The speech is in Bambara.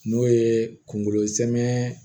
N'o ye kunkolo zɛmɛ